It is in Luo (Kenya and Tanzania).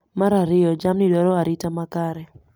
Mar ariyo, jamni dwaro arita makare